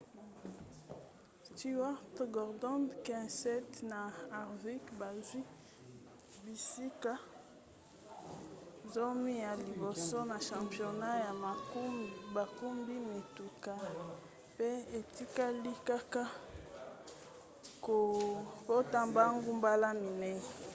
stewart gordon kenseth na harvick bazwi bisika zomi ya liboso na championnat ya bakumbi mituka pe etikali kaka kopota mbangu mbala minei